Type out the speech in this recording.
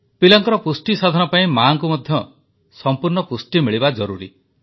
ପିଲାଙ୍କର ପୁଷ୍ଟିସାଧନ ପାଇଁ ମାଆକୁ ମଧ୍ୟ ସଂପୂର୍ଣ୍ଣ ପୁଷ୍ଟି ମିଳିବା ଜରୁରୀ